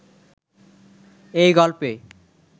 এই গল্পে